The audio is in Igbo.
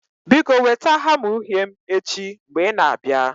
Biko weta hamma uhie m echi mgbe ị na-abịa.